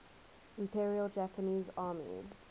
imperial japanese army